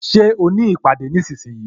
Ṣé o ní ìpàdé nísinsìnyí?